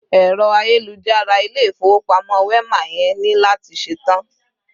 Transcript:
Ero ayélujára Ilé-ifowopamo Wema yẹn ni lati ṣetan